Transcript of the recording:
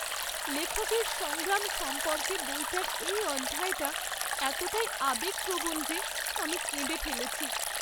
লেখকের সংগ্রাম সম্পর্কে বইটার এই অধ্যায়টা এতটাই আবেগপ্রবণ যে আমি কেঁদে ফেলেছি।